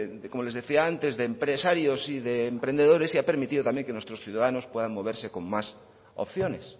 como les decía antes de empresarios y de emprendedores y ha permitido también que nuestros ciudadanos puedan moverse con más opciones